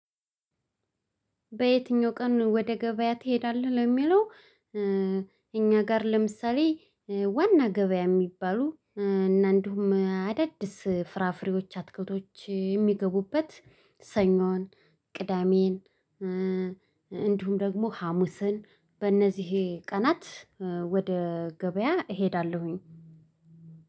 በየትኛው ቀን ወደ ገበያ ትሄዳለህ? ለሚለው እኛ ጋር ለምሳሌ ዋና ገበያ የሚባሉ እና እንዲሁም አዳዲስ ፍራፍሬዎች አትክልቶች የሚገቡበት ሰኞን ቅዳሜን። እንዲሁም ደግሞ ሀሙስን በእነዚህ ቀናት ወደ ገበያ እሄዳለሁኝ።